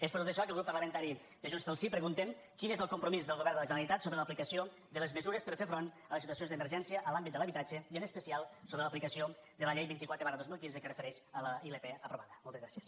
és per tot això que el grup parlamentari de junts pel sí preguntem quin és el compromís del govern de la generalitat sobre l’aplicació de les mesures per fer front a les situacions d’emergència en l’àmbit de l’habitatge i en especial sobre l’aplicació de la llei vint quatre dos mil quinze que es refereix a la ilp aprovada moltes gràcies